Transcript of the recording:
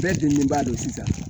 Bɛɛ bilennin ba don sisan